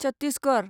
Chhattisgarh